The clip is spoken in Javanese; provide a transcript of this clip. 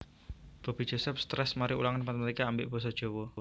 Bobby Joseph stress mari ulangan matematika ambek boso jowo